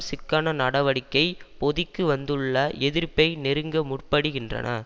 சிக்கன நடவடிக்கை பொதிக்கு வந்துள்ள எதிர்ப்பை நெருங்க முற்படுகின்றன